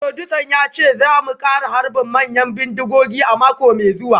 Furodusan ya ce za mu kara harbin manyan bindigogi a mako mai zuwa